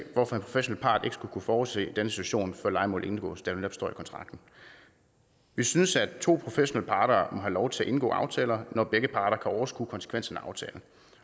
hvorfor en professionel part ikke skulle kunne forudse denne situation før lejemålet indgås da det netop står i kontrakten vi synes at to professionelle parter må have lov til at indgå aftaler når begge parter kan overskue konsekvenserne af aftalen